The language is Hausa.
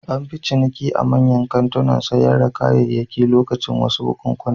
An fi cika a manyan kantunan sayar da kayayyaki lokacin wasu bukunkuna.